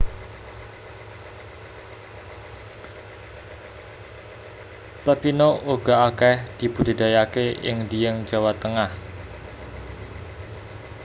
Pepino uga akeh dibudidayaake ing Dieng Jawa Tengah